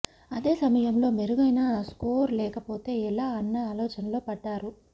అదే సమయంలో మెరుగైన స్కోర్ లేకపోతే ఎలా అన్న ఆలోచనలో పడ్డారు